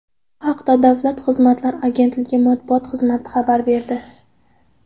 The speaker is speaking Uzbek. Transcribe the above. Bu haqda Davlat xizmatlari agentligi matbuot xizmati xabar berdi .